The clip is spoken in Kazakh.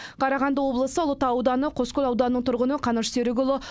қарағанды облысы ұлытау ауданы қоскөл ауданының тұрғыны қаныш серікұлы